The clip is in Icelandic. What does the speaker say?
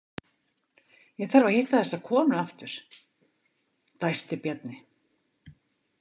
Ég þarf að hitta þessa konu aftur, dæsti Bjarni.